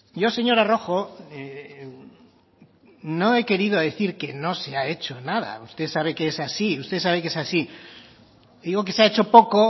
yo señora rojo no he querido decir que no se ha hecho nada usted sabe que es así usted sabe que es así digo que se ha hecho poco